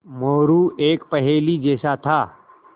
मोरू एक पहेली जैसा था